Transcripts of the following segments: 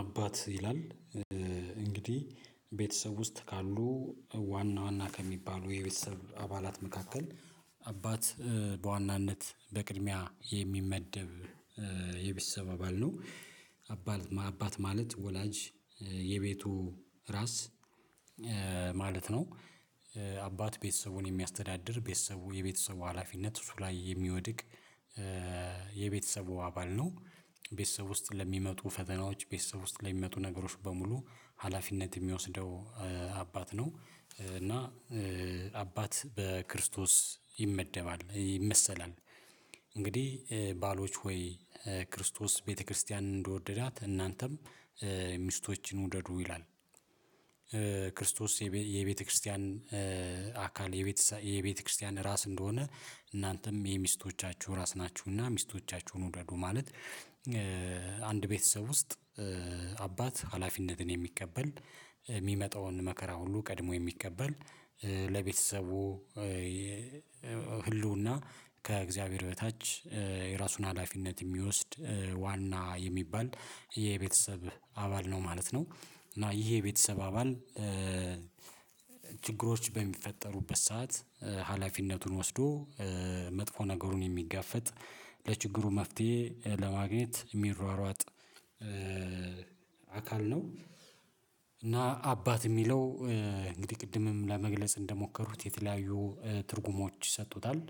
አባት ይላል እንግዲህ ቤተሰብ ውስጥ ካሉ ዋና ዋና ከሚባሉ የቤተሰብ አባላት መካከል አባት በዋናነት በቅድሚያ የሚመደብ የቤተሰብ አባል ነው። አባል አባት ማለት ወላጅ የቤቱ ራስ ማለት ነው። አባት ቤተሰቡን የሚያስተዳድር ቤተሰቡ የቤተሰቡ ሀላፊነት እሱ ላይ የሚወድቅ የቤተሰቡ አባል ነው። ቤተሰብ ውስጥ ለሚመጡ ፈተናዎች ቤተሰብ ውስጥ ላይ ለሚመጡ ነገሮች በሙሉ ሀላፊነት የሚወስደው አባት ነው እና አባት በክርስቶስ ይመደባል ይመሰላል። እንግዲህ ባሎች ሆይ ክርስቶስ ቤተክርስቲያንን እንደወደዳት እናንተም ሚስቶችን ውደዱ ይላል። የቤተክርስቲያን አካል የቤተክርስቲያን ራስ እንደሆነ እናንተም የሚስቶቻችሁ ራስ ናችሁና ሚስቶቻችሁን ውደዱ ማለት። አንድ ቤተሰብ ውስጥ አባት ሀላፊነትን የሚቀበል የሚመጣውን መከራ ሁሉ ቀድሞ የሚቀበል ለቤተሰቡ ህልውና ከእግዚአብሔር በታች የራሱን ሀላፊነት የሚወስድ ዋና የሚባል የቤተሰብ አባል ነው ማለት ነው። እና ይሄ የቤተሰብ አባል ችግሮች በሚፈጠሩበት ሰዓት ሀላፊነቱን ወስዶ መጥፎ ነገሩን የሚጋፈጥ ለችግሩ መፍትሄ ለማግኘት የሚሯሯጥ ነው። እና አባት የሚለው እንግዲህ ቅድምም ለመግለጽ እንደሞከሩት የተለያዩ ትርጉሞች ይሰጡታል።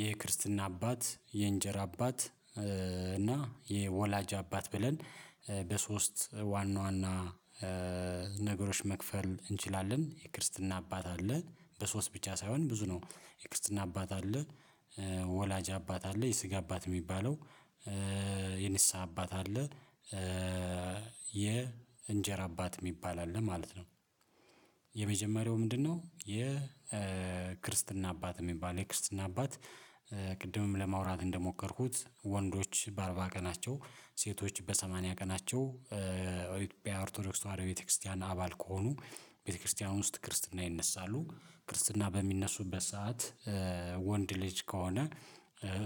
የክርስትና አባት የእንጀራ አባት እና የወላጅ አባት ብለን በሶስት ዋና ዋና ነገሮች መክፈል እንችላለን የክርስትና አባት አለ በሶስት ብቻ ሳይሆን ብዙ ነው። የክርስትና አባት አለ ወላጅ አባት አለ የስጋ አባት የሚባለው የንስሃ አባት አለ። የእንጀራ አባት የሚባል አለ ማለት ነው። የመጀመሪያው ምንድነው? የክርስትና አባት የሚባል የክርስትና አባት ቅድምም ለማውራት እንደሞከርኩት ወንዶች በአርባ ቀናቸው ሴቶች በሰማንያ ቀናቸው ኢትዮጵያ ኦርቶዶክስ ተዋህዶ ቤተክርስቲያን አባል ከሆኑ ቤተክርስቲያን ውስጥ ክርስትና ይነሳሉ። ክርስትና በሚነሱበት ሰዓት ወንድ ልጅ ከሆነ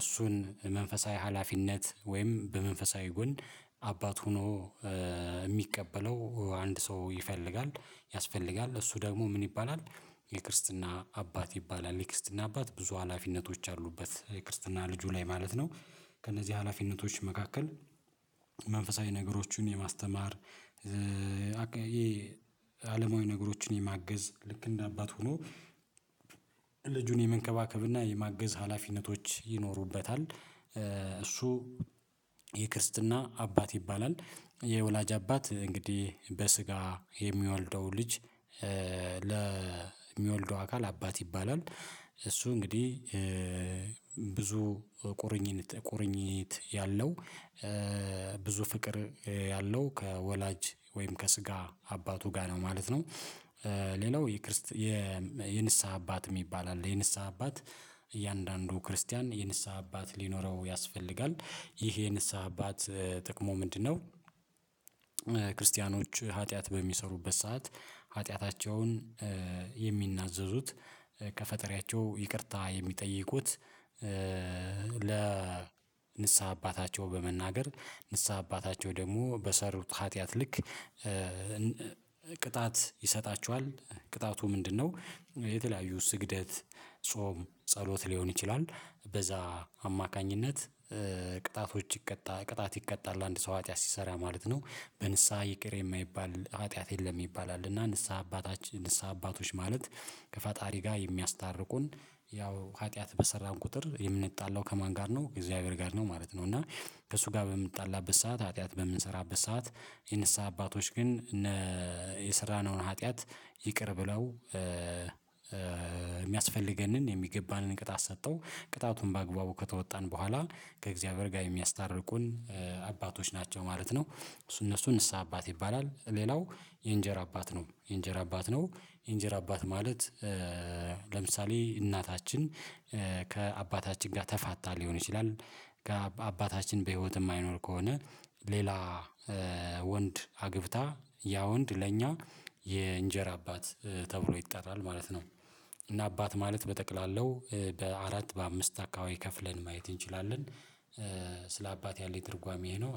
እሱን መንፈሳዊ ሀላፊነት ወይም በመንፈሳዊ ጎን አባት ሆኖ የሚቀበለው አንድ ሰው ይፈልጋል ያስፈልጋል እሱ ደግሞ ምን ይባላል? የክርስትና አባት ይባላል የክርስትና አባት ብዙ ሀላፊነቶች አሉበት የክርስትና ልጁ ላይ ማለት ነው። ከእነዚህ ሀላፊነቶች መካከል መንፈሳዊ ነገሮችን የማስተማር አለማዊ ነገሮችን የማገዝ ልክ እንደ አባት ሆኖ ልጁን የመንከባከብና የማገዝ ሀላፊነቶች ይኖሩበታል። እሱ የክርስትና አባት ይባላል። የወላጅ አባት እንግዲህ በስጋ የሚወልደው ልጅ ለሚወልደው አካል አባት ይባላል። እሱ እንግዲህ ብዙ ቁርኝነት ቁርኝት ያለው ብዙ ፍቅር ያለው ከወላጅ ወይም ከስጋ አባቱ ጋር ነው ማለት ነው። ሌላው የንስሃ አባት የሚባል አለ። የንስሃ አባት እያንዳንዱ ክርስቲያን የንስሐ አባት ሊኖረው ያስፈልጋል ይሄ የንስሐ አባት ጥቅሙ ምንድነው? ክርስቲያኖች ኃጢአት በሚሰሩበት ሰዓት ኃጢአታቸውን የሚናዘዙት ከፈጠሪያቸው ይቅርታ የሚጠይቁት ለ ንስሃ አባታቸው በመናገር ንስሃ አባታቸው ደግሞ በሰሩት ኃጢአት ልክ ይሰጣቸዋል። ቅጣቱ ምንድነው? የተለያዩ ስግደት ጾም ጸሎት ሊሆን ይችላል በዛ አማካኝነት ቅጣቶች ይቀጣ ቅጣት ይቀጣል አንድ ሰው ሀ ጥያት ሲሰራ ማለት ነው። በንስሃ ይቅር የማይባል ኃጢአት የለም ይባላል። እና ንስሃ አባቶች ማለት ከፈጣሪ ጋር የሚያስታርቁን ያው ኃጢአት በሰራን ቁጥር የምንጣላው ከማን ጋር ነው ከእግዚአብሔር ጋር ነው ማለት ነው። እና ከእሱ ጋር በምንጣላበት ሰዓት ሀጥያት በምንሰራበት ሰዓት የንስሃ አባቶች ግን እነ የሰራነውን ሀጥያት ይቅር ብለው የሚያስፈልገንን የሚገባንን ቅጣት ሰታው ቅጣቱን በአግባቡ ከተወጣን በኋላ ከእግዚአብሔር ጋር የሚያስታርቁን አባቶች ናቸው ማለት ነው። እሱ እነሱ ንስሃ አባት ይባላል። ሌላው የእንጀር አባት ነው የእንጀር አባት ነው። የእንጀር አባት ማለት ለምሳሌ እናታችን ከአባታችን ጋር ተፋታ ሊሆን ይችላል ከ አባታችን በህይወት የማይኖር ከሆነ ሌላ ወንድ አግብታ ያ ወንድ ለኛ የእንጀራ አባት ተብሎ ይጣራል ማለት ነው። እና አባት ማለት በጠቅላላው በአራት በአምስት አካባቢ ከፍለን ማየት እንችላለን። ስለ አባት ያለኝ ትርጓሜዬ ይሄ ነው